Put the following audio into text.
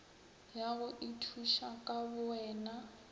ya go ithuša ka bowena